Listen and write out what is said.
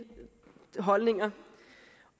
holdninger